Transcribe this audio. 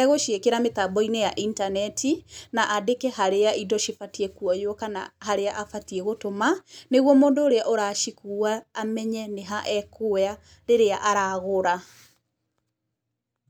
egũciĩkĩra mĩtambo-inĩ ya intaneti, na andĩke harĩa indo cibatiĩ kwoywo kana harĩa abatiĩ gũtũma, nĩguo mũndũ ũrĩa ũracikua amenye nĩ ha ekũoya rĩrĩa aragũra.